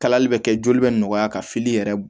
Kalali bɛ kɛ joli bɛ nɔgɔya ka fili yɛrɛ